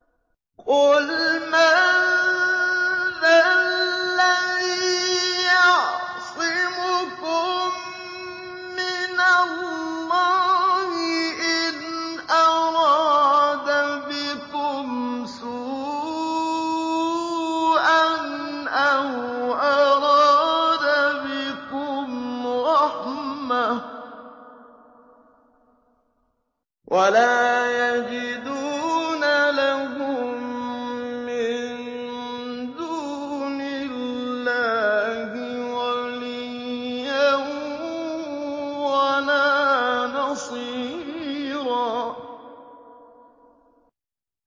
قُلْ مَن ذَا الَّذِي يَعْصِمُكُم مِّنَ اللَّهِ إِنْ أَرَادَ بِكُمْ سُوءًا أَوْ أَرَادَ بِكُمْ رَحْمَةً ۚ وَلَا يَجِدُونَ لَهُم مِّن دُونِ اللَّهِ وَلِيًّا وَلَا نَصِيرًا